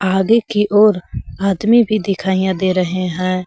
आगे की ओर आदमी भी दिखाईयां दे रहे हैं।